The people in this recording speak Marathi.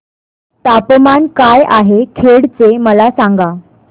तापमान काय आहे खेड चे मला सांगा